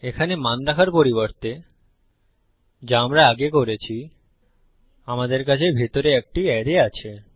এখানে মান রাখার পরিবর্তে যা আমরা আগে করেছি আমাদের কাছে ভিতরে একটি অ্যারে আছে